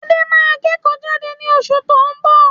Adé máa kẹ́kò jade ni osù to n bọ̀